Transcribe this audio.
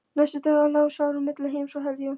Næstu daga lá Særún milli heims og helju.